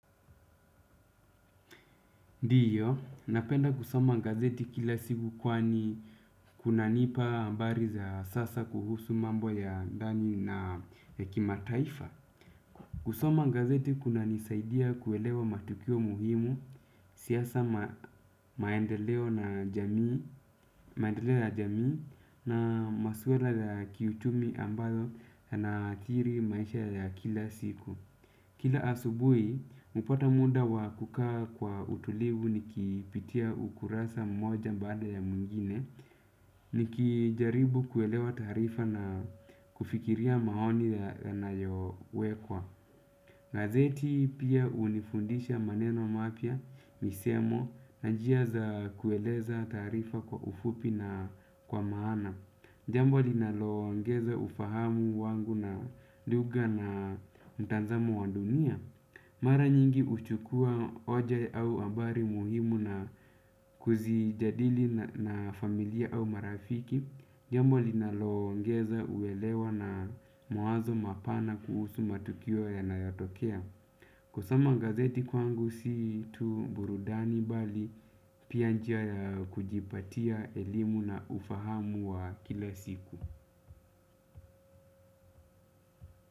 Ndiyo, napenda kusoma gazeti kila siku kwani kunanipa habari za sasa kuhusu mambo ya ndani na kimataifa. Kusoma gazeti kunanisaidia kuelewa matukio muhimu, siasa maendeleo na jamii na maswala ya kiuchumi ambayo yanaathiri maisha ya kila siku. Kila asubuhi, hupata muda wa kukaa kwa utulivu nikipitia ukurasa mmoja baada ya mwingine, nikijaribu kuelewa taarifa na kufikiria maoni yanayowekwa. Gazeti pia hunifundisha maneno mapya, misemo, na njia za kueleza taarifa kwa ufupi na kwa maana. Jambo linaloongeza ufahamu wangu na lugha na mtazamo wa dunia. Mara nyingi huchukua hoja au habari muhimu na kuzijadili na familia au marafiki. Jambo linaloongeza kuelewa na mawazo mapana kuhusu matukio yanayotokea. Kusoma gazeti kwangu si tu burudani bali pia njia ya kujipatia elimu na ufahamu wa kila siku.